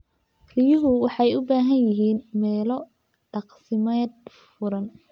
Riyuhu waxay u baahan yihiin meelo daaqsimeed furan.